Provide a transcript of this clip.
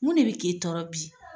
Mun de bɛ kɛ tɔɔrɔ bi.